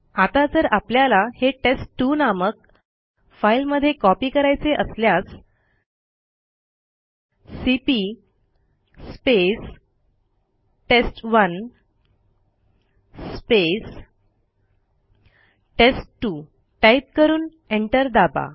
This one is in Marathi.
आता जर आपल्याला हे टेस्ट2 नामक फाईलमध्ये कॉपी करायचे असल्यास सीपी टेस्ट1 टेस्ट2 टाईप करून एंटर दाबा